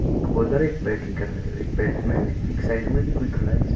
एक बॉलर है। एक बेटिंग कर रहा है। एक बेट्समेन है। एक साइड में भी कोई खड़ा है --